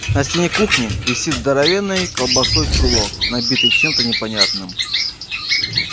на стене кухни висит здоровенный колбасой чулок набитый чем-то непонятным